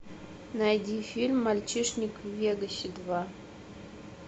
найди фильм мальчишник в вегасе два